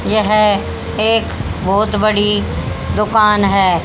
यह एक बहोत बड़ी दुकान है।